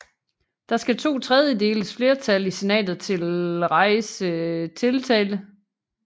Der skal totredjedeles flertal i Senatet til rejse tiltale